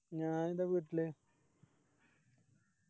ഞാനെൻറെ വീട്ടില്